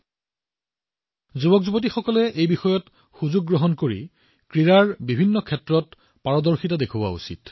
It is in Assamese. মোৰ মৰমৰ যুৱবন্ধুসকল আমি বিভিন্ন ধৰণৰ ক্ৰীড়া আয়ত্ত কৰাৰ এই সুযোগৰ সদ্ব্যৱহাৰ কৰা উচিত